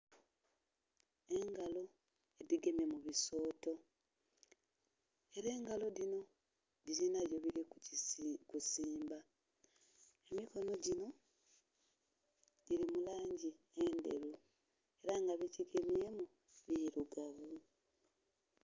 Engalo dhigemye mu bisooto ela engalo dhino dhilina byedhili kusimba, emikono ginho gili mu langi endheru ela nga byegigemyemu birugavu.